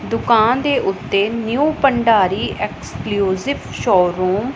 ਦੁਕਾਨ ਦੇ ਉੱਤੇ ਨਿਊ ਭੰਡਾਰੀ ਐਕਸਕਲੂਸਿਵ ਸ਼ੋਰੂਮ --